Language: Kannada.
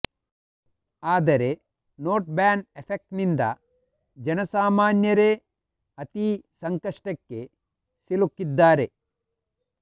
ಆದರೆ ನೋಟ್ ಬ್ಯಾನ್ ಎಫೆಕ್ಟ್ನಿಂದ ಜನಸಾಮಾನ್ಯರೇ ಅತೀ ಸಂಕಷ್ಟಕ್ಕೆ ಸಿಗುಕಿದ್ದಾರೆ